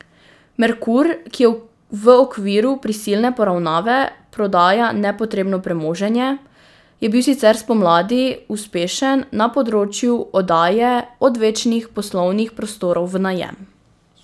Merkur, ki v okviru prisilne poravnave prodaja nepotrebno premoženje, je bil sicer spomladi uspešen na področju oddaje odvečnih poslovnih prostorov v najem.